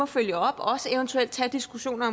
følge op og også eventuelt tage diskussioner